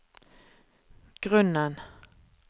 grunnen